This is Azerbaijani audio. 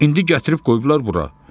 İndi gətirib qoyublar bura.